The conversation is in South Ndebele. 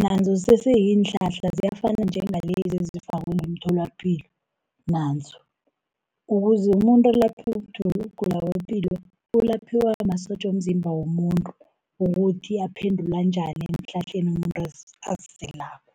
nazo kusese ziinhlahla ziyafana njengalezi ezifakwe ngemtholapilo nazo. Ukuze umuntu alaphe ukugula kwepilo, ulaphiwa masotja womzimba womuntu, ukuthi aphendula njani eehlahleni umuntu aziselako.